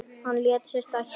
Hann lét sig stækka.